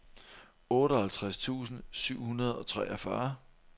otteoghalvtreds tusind syv hundrede og treogfyrre